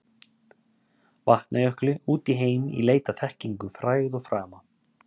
Vatnajökli út í heim í leit að þekkingu, frægð og frama.